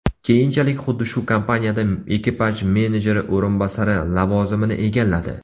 Keyinchalik xuddi shu kompaniyada ekipaj menejeri o‘rinbosari lavozimini egalladi.